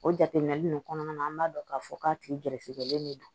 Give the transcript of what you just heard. O jateminɛ ninnu kɔnɔna na an b'a dɔn k'a fɔ k'a tigi gɛrɛsɛgɛlen de don